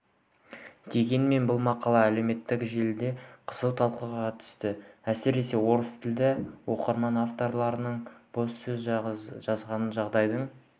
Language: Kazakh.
дегенмен бұл мақала әлеуметтік желіде қызу талқыға түсті әсіресе орыстілді оқырмандар автордың бос сөз жазғанын жағдайдың